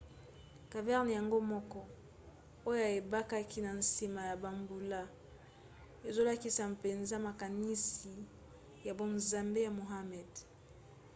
caverne yango moko oyo ebikaki na nsima ya bambula ezolakisa mpenza makanisi ya bonzambe ya muhammad